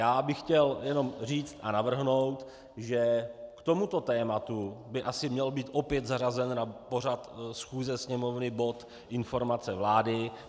Já bych chtěl jenom říct a navrhnout, že k tomuto tématu by asi měl být opět zařazen na pořad schůze Sněmovny bod informace vlády.